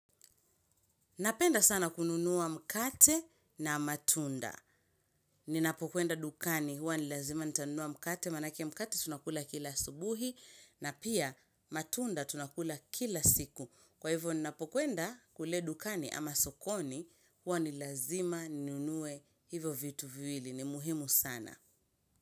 Napenda sana kununua mkate na matunda. Ninapokwenda dukani huwa ni lazima nitanunua mkate maanake mkate tunakula kila asubuhi na pia matunda tunakula kila siku. Kwa hivyo ninapokwenda kule dukani ama sokoni huwa ni lazima nunue hivyo vitu viwili. Ni muhimu sana.